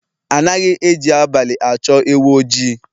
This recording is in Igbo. Anaghị eji abalị achọ ewu oji